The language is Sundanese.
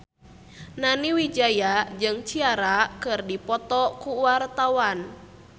Nani Wijaya jeung Ciara keur dipoto ku wartawan